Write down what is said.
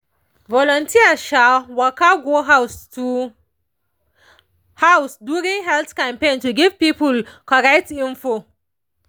volunteers dey waka go house to house during health campaign to give people correct info